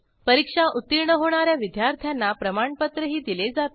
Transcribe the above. परीक्षा उत्तीर्ण होणा या विद्यार्थ्यांना प्रमाणपत्रही दिले जाते